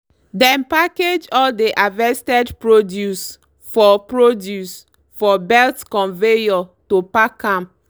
dem package all dey harvested produce for produce for belt conveyor to pack am